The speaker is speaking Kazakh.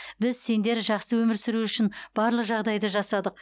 біз сендер жақсы өмір сүру үшін барлық жағдайды жасадық